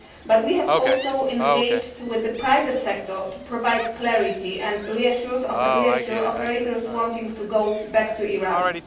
But we have also engaged with the private sector to provide clarity and reassure operators wanting to go back to Iran.